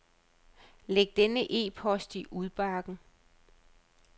Læg denne e-post i udbakken.